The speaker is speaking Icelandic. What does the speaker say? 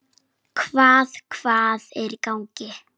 Hvað, hvað er í gangi?